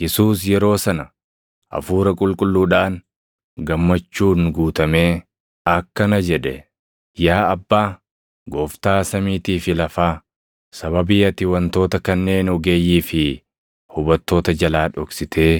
Yesuus yeroo sana Hafuura Qulqulluudhaan gammachuun guutamee akkana jedhe; “Yaa Abbaa, Gooftaa samiitii fi lafaa, sababii ati wantoota kanneen ogeeyyii fi hubattoota jalaa dhoksitee